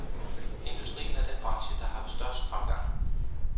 Industrien er den branche, der haft størst fremgang.